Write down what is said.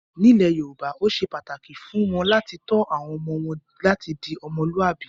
Nílẹ̀ Yorùbá ó ṣe pàtàkì fún wọn làti tọ́ àwọn ọmọ láti di "Ọmọlúwàbí".